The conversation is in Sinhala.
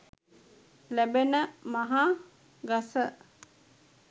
ලැබෙන මහ ගස